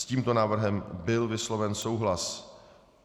S tímto návrhem byl vysloven souhlas.